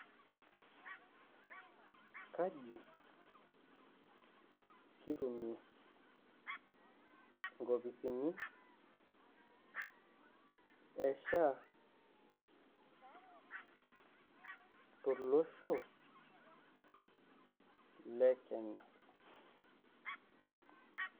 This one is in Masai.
Kaji kitumie nkopisini e SHA tolosho te kenya?